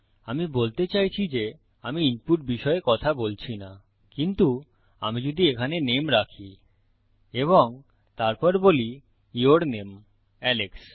আমি বলতে চাইছি যে আমি ইনপুট বিষয়ে কথা বলছি না কিন্তু আমি যদি এখানে নামে রাখি এবং তারপর বলি ইউর নামে আলেক্স